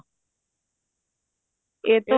ਇਹ ਤੋਂ